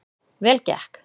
Vel gekk